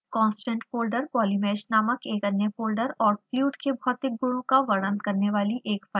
constant folder polymesh नामक एक अन्य फोल्डर और फ्लूइड के भौतिक गुणों का वर्णन करने वाली एक फाइल रखता है